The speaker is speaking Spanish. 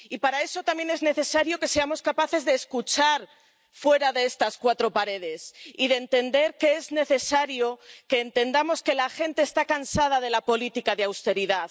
Y para eso también es necesario que seamos capaces de escuchar fuera de estas cuatro paredes y de entender que es necesario que entendamos que la gente está cansada de la política de austeridad.